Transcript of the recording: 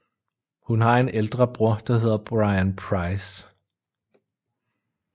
Hun har en ældre bror der hedder Bryan Price